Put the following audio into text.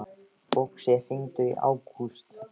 Uxi, hringdu í Ágúst.